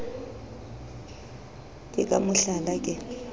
ke ka mo hlala ke